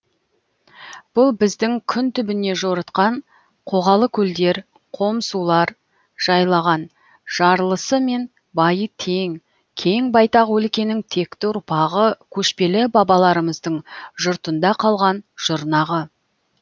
бұл біздің күн түбіне жорытқан қоғалы көлдер қом сулар жайлаған жарлысы мен байы тең кең байтақ өлкенің текті ұрпағы көшпелі бабаларымыздың жұртында қалған жұрнағы